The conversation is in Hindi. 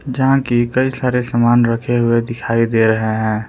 जहां की कई सारे सामान रखे हुए दिखाई दे रहे हैं।